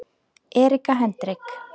Erika Hendrik